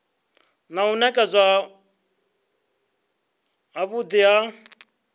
na u nekedzwa havhui ha